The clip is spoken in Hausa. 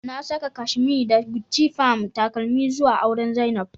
Na saka kashemee da Guchi Palm takeleme zua auren zainab